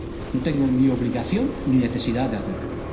No tengo ni obligación ni necesidad de hacerlo.